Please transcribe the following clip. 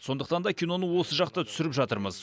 сондықтан да киноны осы жақта түсіріп жатырмыз